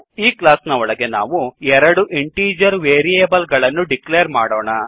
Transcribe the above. ಈ ಕ್ಲಾಸ್ ನ ಒಳಗೆ ನಾವು ಎರಡು ಇಂಟೀಜರ್ ವೇರಿಯೇಬಲ್ ಗಳನ್ನು ಡಿಕ್ಲೇರ್ ಮಾಡೋಣ